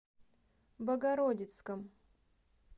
богородицком